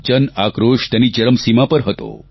જન આક્રોશ તેની ચરમસીમા પર હતો